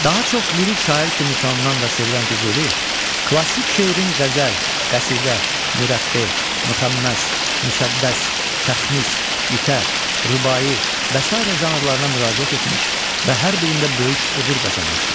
Daha çox lirik şair kimi tanınan və sevilən Füzuli, klassik şeirin qəzəl, qəsidə, mürəbbi, müxəmməs, müsəddəs, təxmis, qitə, rübai və sairə janrlarına müraciət etmiş və hər birində böyük uğur qazanmışdır.